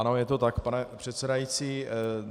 Ano, je to tak, pane předsedající.